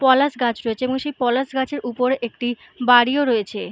পলাশ গাছ রয়েছে এবং সেই পলাশ গাছের উপরে একটি বাড়িও রয়েছে ।